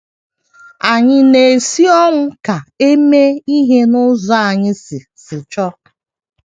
Ànyị na - esi ọnwụ ka e mee ihe n’ụzọ anyị si si chọọ?